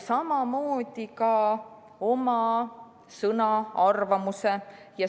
Samamoodi peab olema ka oma sõna, arvamuse.